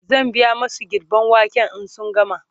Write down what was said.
zan biya masu girben waken in sun gama